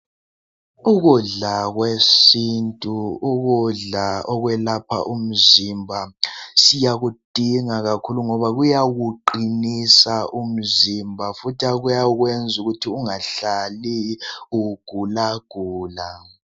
Ukudla kwesintu, ukudla okwelapha umzimba siyakudinga kakhulu ngoba kuyawuqinisa umzimba futhi kuyakwenza ukuthi ungahlali ugula gula.